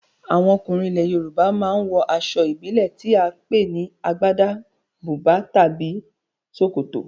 Àwọn ọkùnrin nílẹ̀ Yorùbá ma ń wọ aṣọ ìbílẹ̀ tí à ń pè ní Agbádá, bùbá tàbí ṣòkòtò